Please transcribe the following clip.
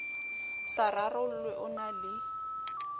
sa rarollwe o na le